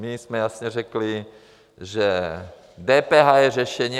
My jsme jasně řekli, že DPH je řešení.